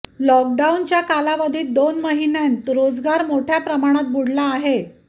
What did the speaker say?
लॉकडाऊनच्या कालावधीत दोन महिन्यांत रोजगार मोठ्या प्रमाणात बुडाला आहे